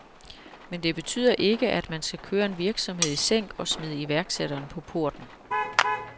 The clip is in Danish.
Men det betyder ikke, at man skal køre en virksomhed i sænk og smide iværksætteren på porten.